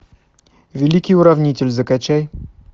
великий уравнитель закачай